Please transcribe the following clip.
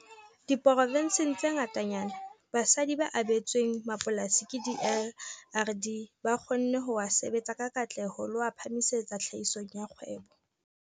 Diprovenseng tse ngatanyana, basadi ba abetsweng mapolasi ke DLRD ba kgonne ho a sebetsa ka katleho le ho a phahamisetsa tlhahisong ya kgwebo.